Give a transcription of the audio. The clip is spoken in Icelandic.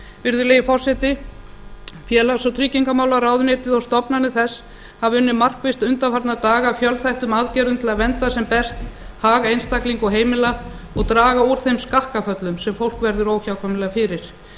virðulegi forseti félags og tryggingamálaráðuneytið og stofnanir þess hafa unnið markvisst undanfarna daga að fjölþættum aðgerðum til að vernda sem best hag einstaklinga og heimila og draga úr þeim skakkaföllum sem fólk verður óhjákvæmilega fyrir